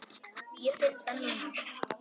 Ég finn það núna.